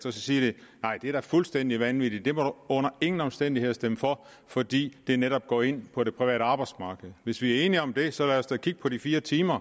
og så siger de nej det er fuldstændig vanvittigt det må du under ingen omstændigheder stemme for fordi det netop går ind på det private arbejdsmarked hvis vi er enige om det så lad os da kigge på de fire timer